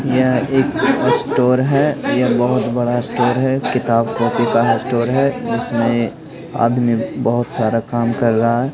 यह एक स्टोर है यह बहुत बड़ा स्टोर है किताब कॉपी का स्टोर है इसमें आदमी बहुत सारा काम कर रहा है।